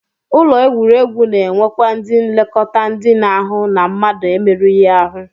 Ụlọ egwuregwu na-enwekwa ndị nlekọta ndị na-ahụ na mmadụ emerụghị ahụ